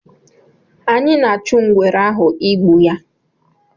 anyị na achụ ngwere ahụ ịgbu ya